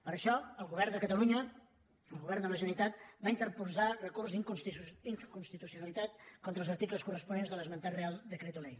per això el govern de catalunya el govern de la generalitat va interposar recurs d’inconstitucionalitat contra els articles corresponents de l’esmentat real decreto ley